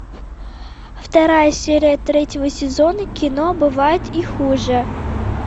вторая серия третьего сезона кино бывает и хуже